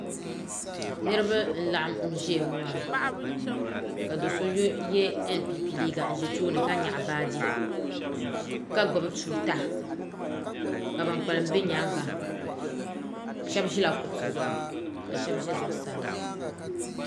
niriba n laɣim ʒɛya ŋɔ maa ka doso yɛ ɛnpɛpɛ liga ʒɛ tuuni ka nyɛgi baaji ka gbabi tuuta ka kpalim bɛ nyɛŋa shɛbi ʒɛla kuɣ'si zuɣ ka shɛbi ʒɛ zuɣ saa